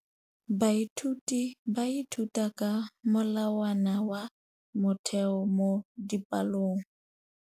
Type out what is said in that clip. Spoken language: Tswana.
Baithuti ba ithuta ka molawana wa motheo mo dipalong.